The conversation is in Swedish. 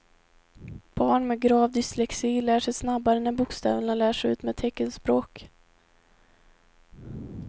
Barn med grav dyslexi lär sig snabbare när bokstäverna lärs ut med teckenspråk.